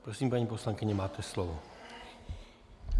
Prosím, paní poslankyně, máte slovo.